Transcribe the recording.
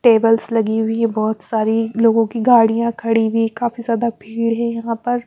Tables लगी हुई हैं बहोत सारी लोगों की गाड़ियां खड़ी हुई हैं काफी ज्यादा भीड़ है यहां पर।